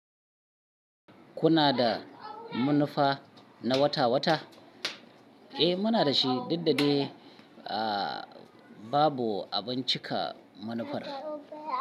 Kuna da manufa na wata wata? Eh muna da shi, duk da dai a babu abun cika manufar.